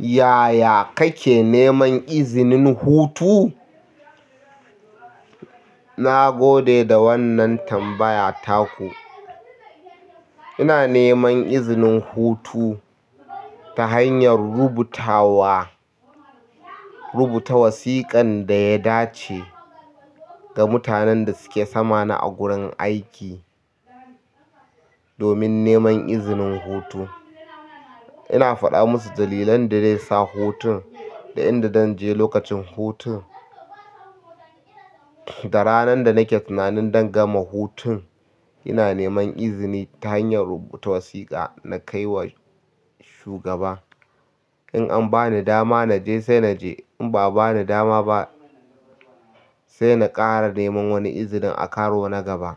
Yaya kake neman izinin hutu? Na gode da wannan tambaya taku. Ina neman izinin hutu ta hanyar rubutawa, rubuta wasiƙan da ya dace ga mutanen da suke sama na a gurin aiki domin neman izinin hutu. Ina faɗa musu dalilan da zai sa hutun, da inda zan je lokacin hutun, da ranan da nake tunanin don gama hutun. Ina neman izini ta hanyar rubuta wasiƙa na kai wa shugaba. In an bani dama na je sai na je. In ba a bani dama ba sai na ƙara neman wani izinin a karo na gaba.